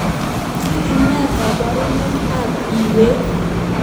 Ne koborunoikab ab iywek